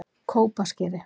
Kópaskeri